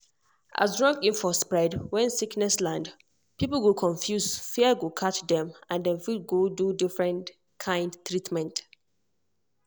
as wrong info spread when sickness land people go confuse fear go catch dem and dem fit go do different kind treatment.